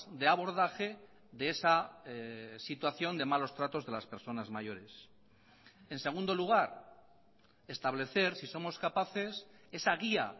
de abordaje de esa situación de malos tratos de las personas mayores en segundo lugar establecer si somos capaces esa guía